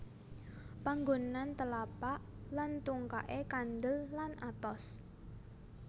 Panggonan telapak lan tungkaké kandel lan atos